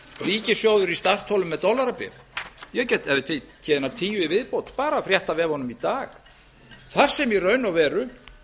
ríkissjóður í startholum með dollarabréf ég gæti tekið einar tíu í viðbót bara að fréttavefunum í dag þar sem í raun og veru